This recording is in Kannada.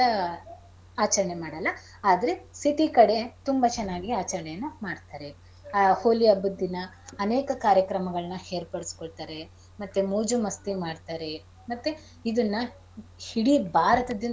ಆಚರಣೆ ಮಾಡಲ್ಲ ಆದ್ರೆ city ಕಡೆ ತುಂಬಾ ಚೆನ್ನಾಗಿ ಆಚರಣೆಯನ್ನ ಮಾಡ್ತಾರೆ. ಆ ಹೋಳಿ ಹಬ್ಬದ್ ದಿನ ಅನೇಕ ಕಾರ್ಯಕ್ರಮಗಳನ್ನ ಏರ್ಪಡಿಸ್ಕೋಳ್ತಾರೆ ಮತ್ತೆ ಮೋಜು ಮಸ್ತಿ ಮಾಡ್ತಾರೆ ಮತ್ತೆ ಇದನ್ನ ಇಡೀ ಭಾರತ~ .